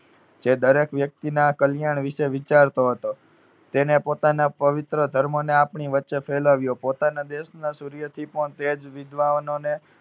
જે દરેક વ્યક્તિના કલ્યાણ વિશે વિચારતો હતો. તેને પોતાના પવિત્ર ધર્મને આપણી વચ્ચે ફેલાવ્યો. પોતાના દેશના સૂર્યથી પણ તેજ વિદ્વાનોને